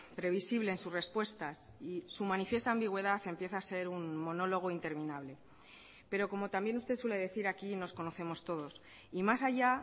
previsible en sus respuestas y su manifiesta ambigüedad empieza a ser un monólogo interminable pero como también usted suele decir aquí nos conocemos todos y más allá